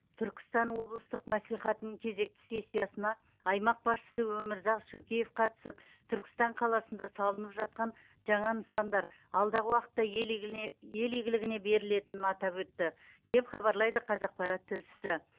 түркістан облыстық мәслихатының кезекті сессиясына аймақ басшысы өмірзақ шөкеев қатысып түркістан қаласында салынып жатқан жаңа нысандар алдағы уақытта ел игілне ел игіліне берілетінін атап өтті деп хабарлайды қазақпарат тілшісі